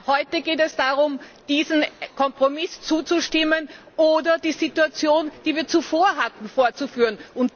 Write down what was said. Denn heute geht es darum, diesem Kompromiss zuzustimmen oder die Situation, die wir zuvor hatten, fortzuführen.